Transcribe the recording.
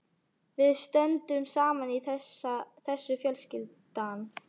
Við stöndum saman í þessu fjölskyldan.